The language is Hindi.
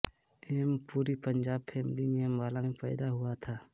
एम पुरी पंजाबफैमिली में अंबाला में पैदा हुआ था